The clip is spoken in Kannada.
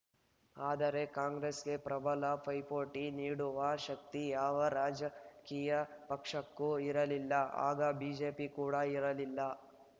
ಆದರೆ ಕಾಂಗ್ರೆಸ್‌ಗೆ ಪ್ರಬಲ ಪೈಪೋಟಿ ನೀಡುವ ಶಕ್ತಿ ಯಾವ ರಾಜಕೀಯ ಪಕ್ಷಕ್ಕೂ ಇರಲಿಲ್ಲ ಆಗ ಬಿಜೆಪಿ ಕೂಡ ಇರಲಿಲ್ಲ